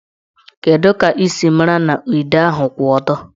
Kedụ ka ị siri mara na ide ahụ kwụ ọtọ?